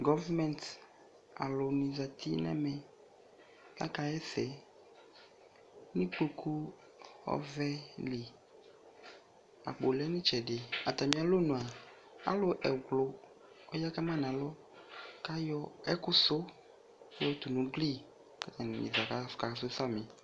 Gɔvmɛnt alʋnɩ zati nʋ ɛmɛ kʋ akaɣa ɛsɛ nʋ ikpoku ɔvɛ li Akpo lɛ nʋ ɩtsɛdɩ Atamɩalɔnu a, alʋ ɛwlʋ ɔya ka ma nʋ alɔ kʋ ayɔ ɛkʋsʋ yɔtʋ nʋ ugli kʋ atanɩ dza akasʋ samɩ